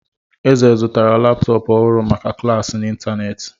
Eze zụtara laptọọpụ ọhụrụ maka klas ya n'ịntanetị.